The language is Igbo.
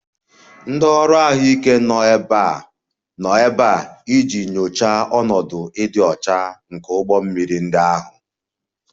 Ndị ọrụ ahụike nọ ebe a iji nyochaa ọnọdụ ịdị ọcha nke ụgbọ mmiri ndị ahụ